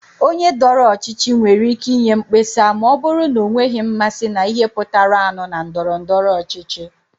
Onye dọrọ ọchịchị nwere ike inye mkpesa ma ọ bụrụ na ọ nweghị mmasị na ihe pụtaranụ na ndọrọ ndọrọ ọchịchị.